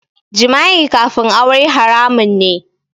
Jima'i kafin aure haramun ne